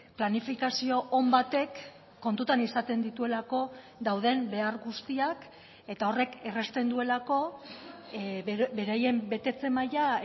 planifikazio on batek kontutan izaten dituelako dauden behar guztiak eta horrek errazten duelako beraien betetze maila